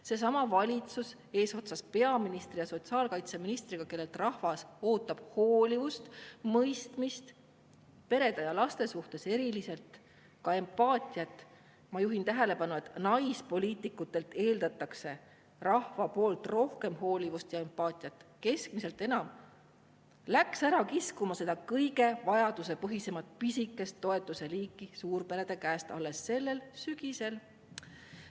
Seesama valitsus eesotsas peaministri ja sotsiaalkaitseministriga, kellelt rahvas ootab hoolivust, mõistmist, perede ja laste suhtes ka erilist empaatiat – ma juhin tähelepanu, et naispoliitikutelt eeldab rahvas rohkem hoolivust ja empaatiat, keskmisest enam –, läks ära kiskuma seda kõige vajadusepõhisemat pisikest toetuseliiki suurperede käest alles sellel sügisel.